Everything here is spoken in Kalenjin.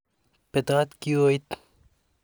Petat kioit.